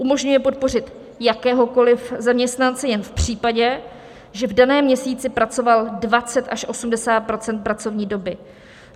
Umožňuje podpořit jakéhokoliv zaměstnance jen v případě, že v daném měsíci pracoval 20 až 80 % pracovní doby.